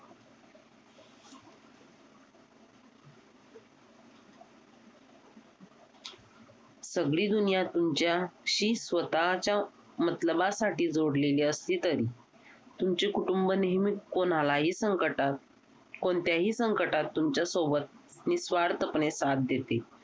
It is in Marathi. सगळी दुनिया तुमच्या आह शी स्वतःच्या मतलबासाठी जोडलेली असली तरी तुमचे कुटुंब नेहमी कोणाला ही संकटात कोणत्याही संकटात तुमच्या सोबत निस्वार्थपणे साथ देते